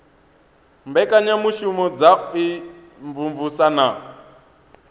mbekanyamushumo dza u imvumvusa na